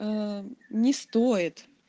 не стоит